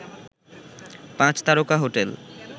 পাঁচ তারকা হোটেল